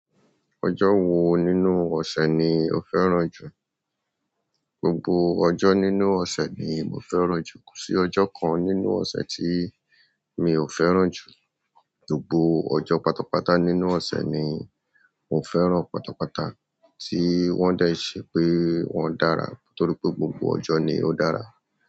Ọjọ́ wo nínú ọ̀sẹ̀ ni o fẹ́ràn jù? Gbogbo ọjọ́ nínú ọ̀sẹ̀ ni mo fẹ́ràn jù, kò sí ọjọ́ kan nínú ọ̀sẹ̀ tí mi ò fẹ́ràn jù, gbogbo ọjọ́ pátápátá nínú ọ̀sẹ̀ ni mo fẹ́ràn pátápátá tí wọ́n dẹ́ẹ́ ṣe pé wọ́n dára nítorí pé gbogbo ọjọ́ ni ó dára.